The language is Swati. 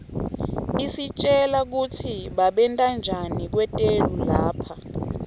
isitjela kutsi babentanjani kwetelu lapha